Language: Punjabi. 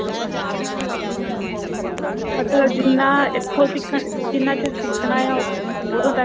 ਮਤਲਬ ਜਿੰਨਾ ਇੱਥੋਂ ਸਿਖਣ ਜਿੰਨਾ ਚਿਰ ਸਿਖਣਾ ਆ ਉਦੋਂ ਤੱਕ